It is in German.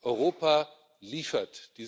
Europa liefert.